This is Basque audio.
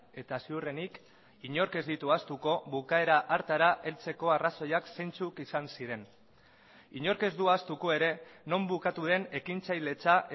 eta ziurrenik inork ez ditu ahaztuko bukaera hartara heltzeko arrazoiak zeintzuk izan ziren inork ez du ahaztuko ere non bukatu den ekintzailetza